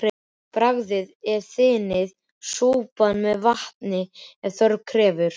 Bragðið og þynnið súpuna með vatni ef þörf krefur.